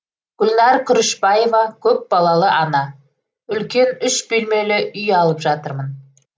гүлнәр күрішбаева көпбалалы ана үлкен үш бөлмелі үй алып жатырмын